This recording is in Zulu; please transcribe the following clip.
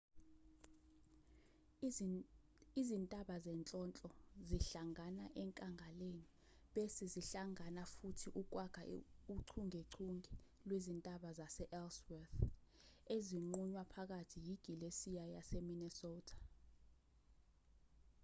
izintaba zenhlonhlo zihlangana enkangaleni bese zihlangana futhi ukwakha uchungechunge lwezintaba sase-ellsworth ezinqunywa phakathi yigilesiya yase-minnesota